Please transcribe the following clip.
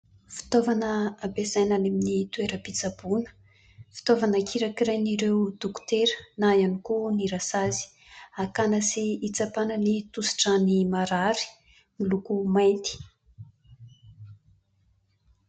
Fitaovana ampiasaina any amin'ny toeram-pitsaboana. Fitaovana kirakirain'ireo dokotera na ihany koa ny rasazy. Akàna sy hitsapàna ny tosidràn'ny marary. Miloko mainty.